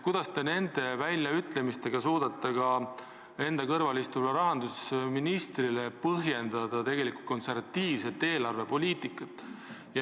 Kuidas te nende väljaütlemiste korral suudate ka enda kõrval istuvale rahandusministrile põhjendada, et tegelikult ajame konservatiivset eelarvepoliitikat?